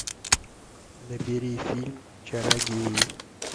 набери фильм чародеи